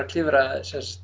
klifra